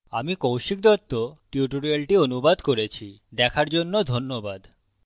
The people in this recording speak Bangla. আমি কৌশিক দত্ত tutorials অনুবাদ করেছি দেখার জন্য ধন্যবাদ